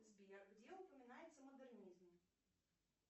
сбер где упоминается модернизм